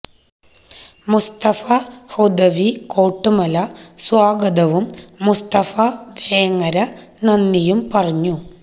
മുസ്തഫ ഹുദവി കോട്ടുമല സ്വാഗതവും മുസ്തഫ വേങ്ങര നന്ദിയും പറഞ്ഞു